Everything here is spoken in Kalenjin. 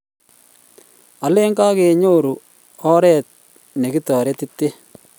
alen kakenyoru oret ne kitaretiten